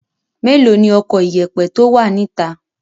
Mélòó ni ọkọ ìyẹ̀pẹ̀ tó wà níta?